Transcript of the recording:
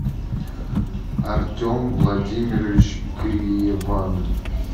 артем владимирович криеван